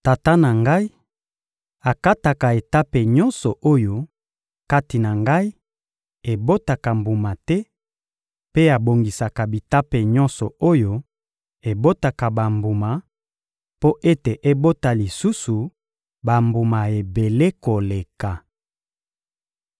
Tata na Ngai akataka etape nyonso oyo, kati na Ngai, ebotaka mbuma te; mpe abongisaka bitape nyonso oyo ebotaka bambuma, mpo ete ebota lisusu bambuma ebele koleka.